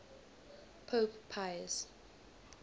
pope pius